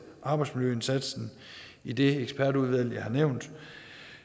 arbejdsmiljøindsatsen i det ekspertudvalg jeg har nævnt